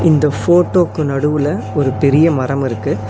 இந்த ஃபோட்டோக்கு நடுவுல ஒரு பெரிய மரம் இருக்கு.